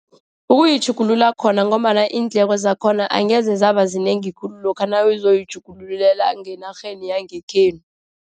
Ukuyutjhugulula khona, ngombana iindleko zakhona angeze zabazinengi khulu lokha nawuzoyitjhugululela ngeenarheni yangekhenu.